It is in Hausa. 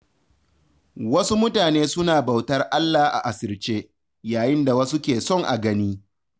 Wasu mutane suna bautar Allah a asirce, yayin da wasu ke son a gani.